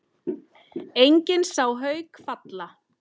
Enginn sá Hauk falla.